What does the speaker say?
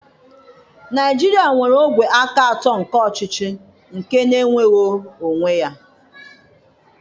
Naịjirịa nwere ogwe aka atọ nke ọchịchị nke na-enweghị onwe ya.